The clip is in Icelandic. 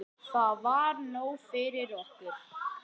Það var nóg fyrir okkur.